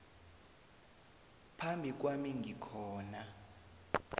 phambi kwami ngikhona